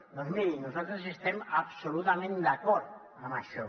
doncs mirin nosaltres estem absolutament d’acord amb això